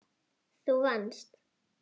Þú vannst.